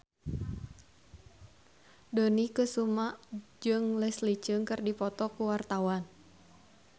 Dony Kesuma jeung Leslie Cheung keur dipoto ku wartawan